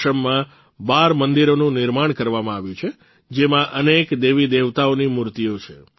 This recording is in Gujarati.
આશ્રમમાં ૧૨ મંદિરોનું નિર્માણ કરવામાં આવ્યું છે જેમાં અનેક દેવીદેવતાઓની મૂર્તિઓ છે